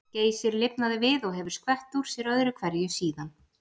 Geysir lifnaði við og hefur skvett úr sér öðru hverju síðan.